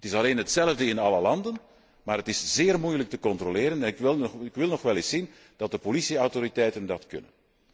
Het is alleen hetzelfde in alle landen, maar het is zeer moeilijk te controleren en ik wil nog wel eens zien of de politieautoriteiten dat kunnen.